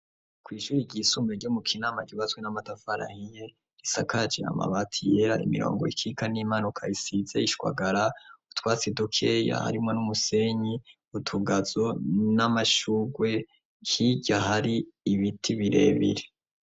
Kw'ishuri ryisumbe ryo mu kinama ryubatswe n'amatafari ahiye, risakaje amabati yera imirongo ikika n'iyimanuka isize ishwagara, utwatsi duke harimo n'umusenyi, utugazo n'amashugwe hirya hari ibiti birebire.